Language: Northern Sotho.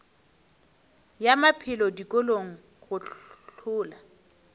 ya maphelo dikolong go hlola